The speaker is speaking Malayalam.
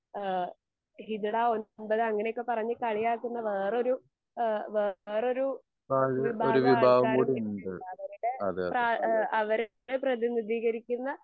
ഏഹ് ഹിജഡ ഒമ്പത് അങ്ങനെയൊക്കെ പറയുന്ന കളിയാക്കുന്ന വേറൊരു ഏഹ് വേറൊരു വിഭാഗ ആൾക്കാരും ഇവിടിണ്ട് അവരുടെ പ്രാ എഹ് അവര്ടെ പ്രേതിമുകീകരിക്കുന്ന